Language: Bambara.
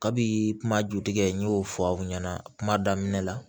Kabi kuma jutigɛ n'o fɔ aw ɲɛna kuma daminɛ la